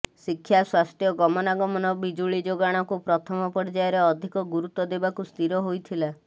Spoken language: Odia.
ଶିକ୍ଷା ସ୍ୱାସ୍ଥ୍ୟ ଗମନାଗମନ ବିଜୁଳି ଯୋଗାଣାକୁ ପ୍ରଥମ ପର୍ଯ୍ୟାୟରେ ଅଧିକ ଗୁରୁତ୍ୱ ଦେବାକୁ ସ୍ଥିର ହୋଇଥିଲା